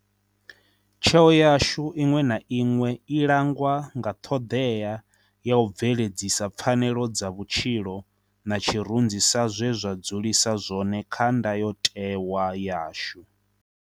Tsheo yashu iṅwe na iṅwe i langwa nga ṱhoḓea ya u bve-ledzisa pfanelo dza vhutshilo na tshirunzi sa zwe zwa dzulisa zwone kha Ndayotewa yashu.